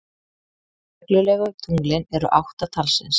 Reglulegu tunglin eru átta talsins.